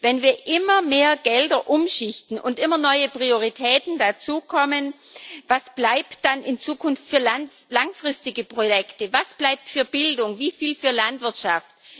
Wenn wir immer mehr Gelder umschichten und immer neue Prioritäten dazukommen, was bleibt dann in Zukunft für langfristige Projekte, was bleibt für Bildung, wieviel für Landwirtschaft?